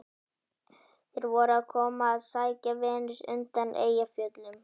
Þeir voru að koma að sækja Venus undan Eyjafjöllum.